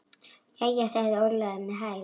Jæja, sagði Ólafur með hægð.